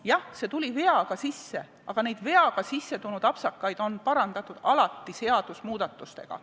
Jah, see tuli kogemata sisse, aga niisuguseid apsakaid on alati parandatud seadusemuudatusega.